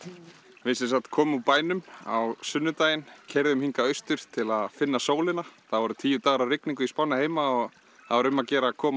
við komum úr bænum á sunnudaginn keyrðum hingað austur til að finna sólina þá voru tíu dagar af rigningu í spánni heima og þá er um að gera að koma